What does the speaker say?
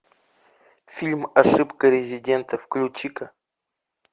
фильм ошибка резидента включи ка